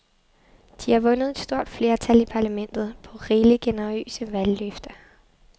De har vundet et stort flertal i parlamentet på rigeligt generøse valgløfter.